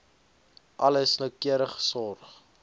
alles noukeurig sorg